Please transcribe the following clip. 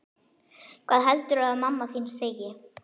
Hvað heldurðu að mamma þín segi?